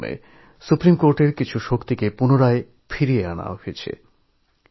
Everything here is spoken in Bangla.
এর পাশাপাশি সুপ্রিমকোর্টের কিছু কিছু ক্ষমতা বহাল রাখা হয়